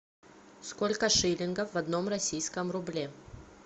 сколько шиллингов в одном российском рубле